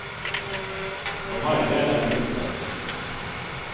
For meg ble det en fluktvei.